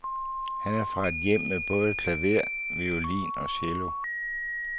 Han er fra et hjem med både klaver, violin og cello.